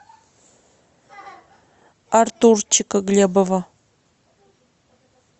артурчика глебова